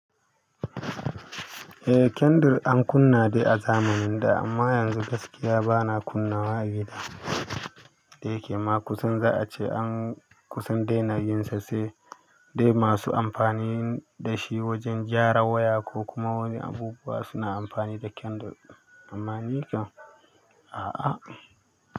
Ehh kandul a kunna dai a zamin da amma yanzu gaskiya bana kunnawa a gida da yake kusan za a ce an kusa daina yin sa sai dai masu amfani da shi wajan gyaran waya ko kuma wani abubuwa suna amfani da kandul amma ni kam a'a.